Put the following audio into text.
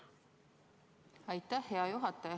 Aitäh, hea juhataja!